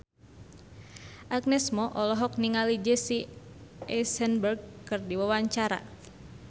Agnes Mo olohok ningali Jesse Eisenberg keur diwawancara